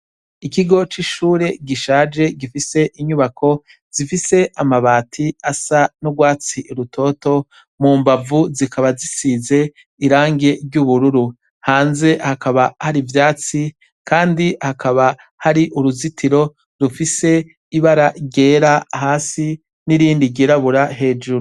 Ikigo c'ishure gishaje gifise inyubako zifise amabati asa n'urwatsi rutoto, mumbavu zikaba zisize iragi ry'ubururu hakaba har'ivyatsi kandi hakaba hari uruzitiro rufise ibara ryera hasi nirindi ry'irabura hejuru.